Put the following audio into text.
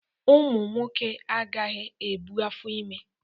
Ụmụ nwoke agaghị ebu afọ ime